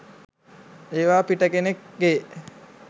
ඒවා පිටකෙනෙක්ගේ